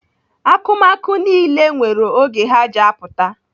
Akụmakụ niile nwere oge ha ji apụta.